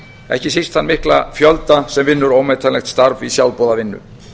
ekki síst þann mikla fjölda sem vinnur ómetanlegt starf í sjálfboðavinnu